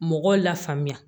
Mɔgɔw la faamuya